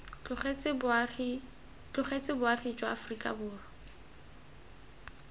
tlogetse boagi jwa aforika borwa